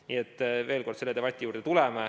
Nii et veel kord: selle debati juurde me tuleme.